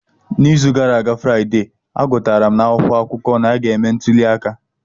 N'izu gara aga Fraide, agụtara m n'akwụkwọ akụkọ na a ga-eme ntuli aka.